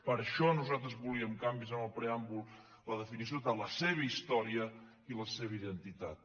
per això nosaltres volíem canvis en el preàmbul la definició de la seva història i la seva identitat